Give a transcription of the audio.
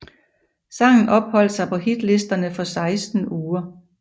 Sangen opholdt sig på hitlisterne for seksten uger